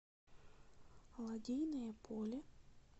лодейное поле